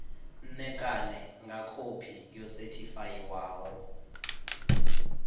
ṋekane nga khophi yo sethifaiwaho